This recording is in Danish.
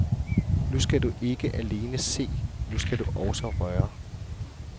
Nu skal du ikke alene se, nu skal du også røre.